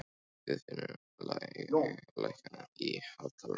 Guðfinnur, lækkaðu í hátalaranum.